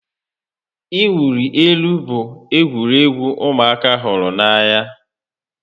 Ị wuli elu bụ egwuregwu ụmụaka hụrụ n'anya